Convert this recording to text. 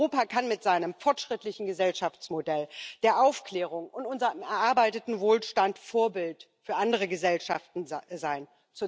Europa kann mit seinem fortschrittlichen Gesellschaftsmodell der Aufklärung und unserem erarbeiteten Wohlstand Vorbild für andere Gesellschaften sein.